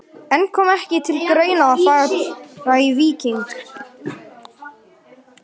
En kom ekki til greina að fara í Víking?